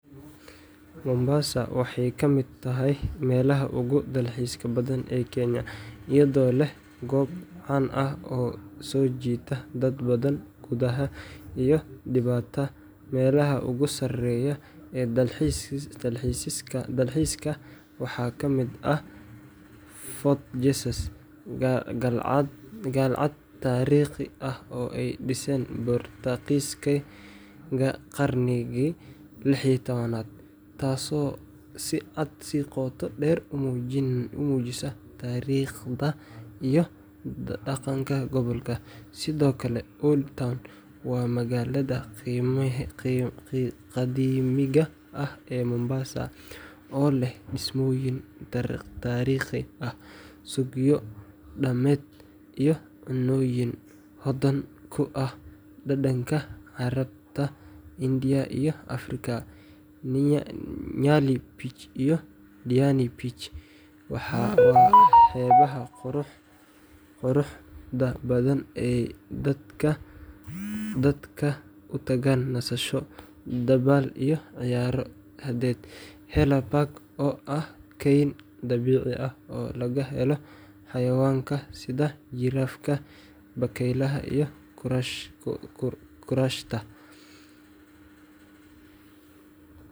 Mombasa waxay ka mid tahay meelaha ugu dalxiiska badan ee Kenya, iyadoo leh goobo caan ah oo soo jiita dad badan gudaha iyo dibadda. Meelaha ugu sarreeya ee dalxiiska waxaa ka mid ah Fort Jesus, qalcad taariikhi ah oo ay dhiseen Boortaqiiskii qarnigii 16aad, taasoo si qoto dheer u muujisa taariikhda iyo dhaqanka gobolka. Sidoo kale, Old Town waa magaalada qadiimiga ah ee Mombasa, oo leh dhismooyin taariikhi ah, suuqyo dhaqameed, iyo cunnooyin hodan ku ah dhadhanka Carabta, India, iyo Afrika. Nyali Beach iyo Diani Beach waa xeebaha quruxda badan ee ay dadku u tagaan nasasho, dabaal, iyo ciyaaro badeed. Haller Park oo ah kayn dabiici ah oo laga helo xayawaanka sida jirafaha, bakaylaha iyo kuraashta,